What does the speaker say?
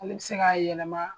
Ale bi se k'a yɛlɛma